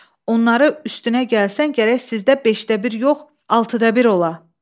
Onları üstünə gəlsən, gərək sizdə beşdə bir yox, altıda bir ola.”